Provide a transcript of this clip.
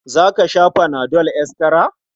Za ka sha fana dol estira?